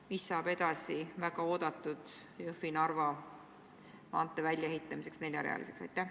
Mis saab edasi väga oodatud plaanist, ehitada Jõhvi–Narva maantee neljarealiseks?